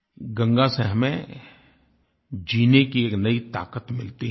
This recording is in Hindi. गंगा से हमें जीने की एक नयी ताक़त मिलती है